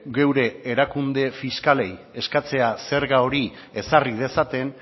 geure erakunde fiskalei eskatzea zerga hori ezarri dezaten